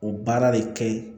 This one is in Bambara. O baara de kɛ ye